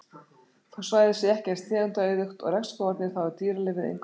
Þó svæðið sé ekki eins tegundaauðugt og regnskógarnir þá er dýralífið engu að síður fjölbreytt.